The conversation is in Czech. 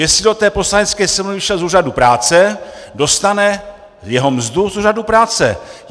Jestli do té Poslanecké sněmovny přišel z úřadu práce, dostane jeho mzdu z úřadu práce.